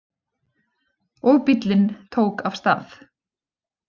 Og bíllinn tók af stað.